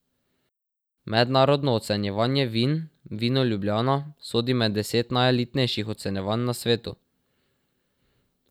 Mednarodno ocenjevanje vin Vino Ljubljana sodi med deset najelitnejših ocenjevanj na svetu.